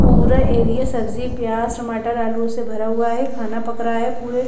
पूरा एरिया सब्जी प्याज टमाटर आलूओं से भरा हुआ है खाना पक रहा है पूरे--